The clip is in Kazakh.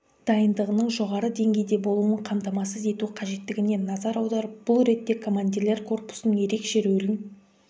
дайындығының жоғары деңгейде болуын қамтамасыз ету қажеттігіне назар аударып бұл ретте командирлер корпусының ерекше рөлін